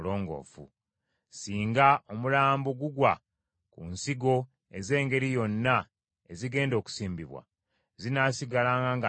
Singa omulambo gugwa ku nsigo ez’engeri yonna ezigenda okusimbibwa, zinaasigalanga nnongoofu.